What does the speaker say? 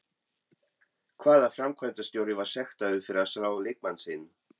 Hvaða framkvæmdarstjóri var sektaður fyrir að slá leikmann sinn?